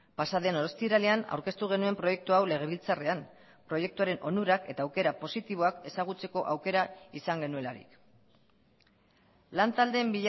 pasaden ostiralean aurkeztu genuen proiektu hau legebiltzarrean proiektuaren onurak eta aukera positiboak ezagutzeko aukera izan genuelarik lantaldeen